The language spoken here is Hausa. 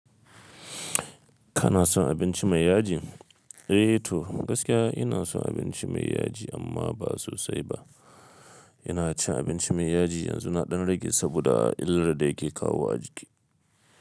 Kana son abinci mai yaji? Eh to gaskiya ina son abinci mai yaji amma ba sosai ba. Ina cin abinci mai yaji yanzu na ɗan rage saboda illar da yake kawo a jiki.